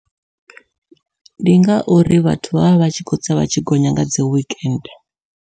Ndi ngauri vhathu vha vha vha tshi kho tsa vha tshi gonya nga dzi wikende.